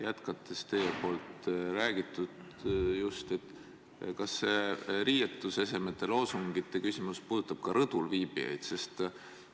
Jätkates teie räägitut: kas see riietusesemete ja loosungite küsimus puudutab ka rõdul viibijaid?